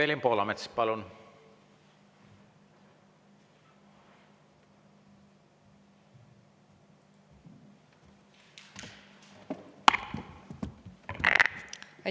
Evelin Poolamets, palun!